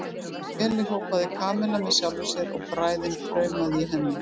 Keli, hrópaði Kamilla með sjálfri sér og bræðin kraumaði í henni.